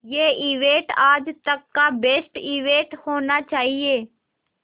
ये इवेंट आज तक का बेस्ट इवेंट होना चाहिए